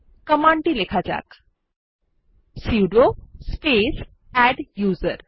কমান্ডটি লেখা যাক সুদো স্পেস আদ্দুসের